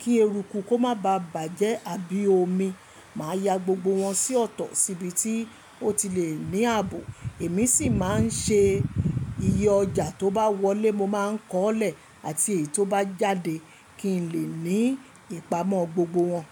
kí eruku kó má baà bàjẹ́ àbí omi. Màá ya gbogbo wọn sí ọ̀tọ̀ síbi tí ó ti le ní ààbò. Èmi sì máa ń ṣe iye ọjà tó bá wọlé, mo máa ń kọ́ọ́ ọ́ lẹ̀, àti èyí tó bá jáde kí n lè ní ìpamọ́ gbogbo wọn.